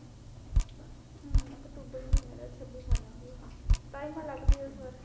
ਹਮ ਅਕਤੂਬਰ ਮਹੀਨੇ ਦਾ ਛੱਬੀ ਸਾਲਾਂ ਦੀ ਐ, ਸਤਾਈ ਵਾ ਲੱਗਜੂਗਾ ਇਸ ਵਾਰ